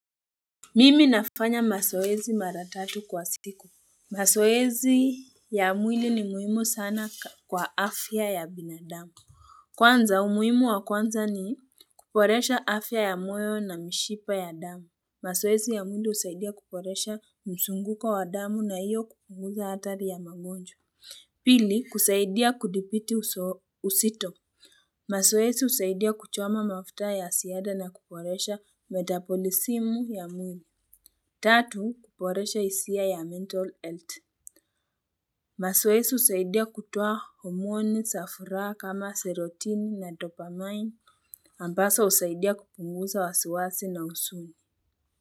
Mimi nafanya masoezi mara tatu kwa siku. Mazoezi ya mwili ni muhimu sana kwa afya ya binadamu. Kwanza umuhimu wa kwanza ni kuboresha afya ya moyo na mishipa ya damu. Mazoezi ya mwili husaidia kuboresha mzunguko wa damu na iyo kupunguza hatari ya magonjwa. Pili kusaidia kudipiti usito. Masoezi usaidia kuchoma mafuta ya siada na kuporesha metapolisimu ya mwili. Tatu kuporesha isia ya mental health masoezi usaidia kutoa hormoni sa furaha kama serotin na dopamine ambaso usaidia kupunguza wasiwasi na usuni.